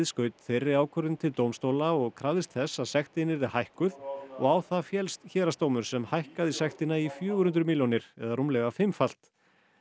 skaut þeirri ákvörðun til dómstóla og krafðist þess að sektin yrði hækkuð og á það féllst héraðsdómur sem hækkaði sektina í fjögur hundruð milljónir eða rúmlega fimmfalt